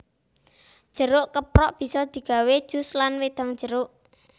Jeruk keprok bisa digawé jus lan wedang jeruk